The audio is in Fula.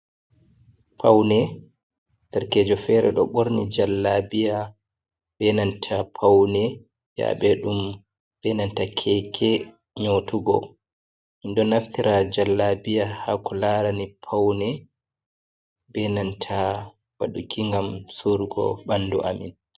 Paune darkejo fere ɗo ɓorni jallabiya benanta Paune, Yabe ɗum benanta keke nyotuugo. Minɗo naftira jallabiya ha ko larani Paune benanta waɗuki ngam suruugo ɓandu amin.